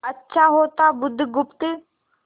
अच्छा होता बुधगुप्त